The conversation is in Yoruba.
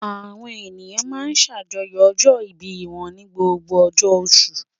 Àwọn ènìyàn máa ń ṣàjọyọ̀ ọjọ́-ìbí wọn ní gbogbo ọjọ́ oṣù.